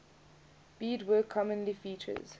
beadwork commonly features